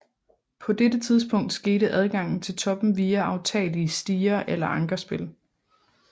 På dette tidspunkt skete adgangen til toppen via aftagelige stiger eller ankerspil